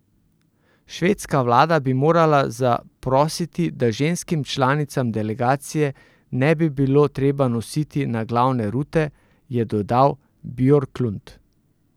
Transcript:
Švedska vlada bi morala zaprositi, da ženskim članicam delegacije ne bi bilo treba nositi naglavne rute, je dodal Bjorklund.